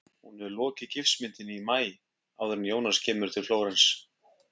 Hún hefur lokið gifsmyndinni í maí- áður en Jónas kemur til Flórens.